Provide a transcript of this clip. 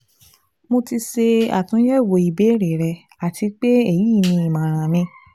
Mo ti ṣe atunyẹwo ibeere rẹ ati pe eyi ni imọran mi